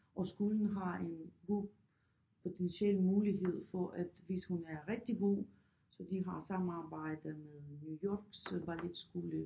Og skolen har en god potentiel mulighed for at hvis hun er rigtig god så de har samarbejde med New Yorks øh balletskole